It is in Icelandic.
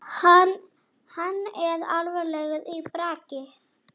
Hann er alvarlegur í bragði.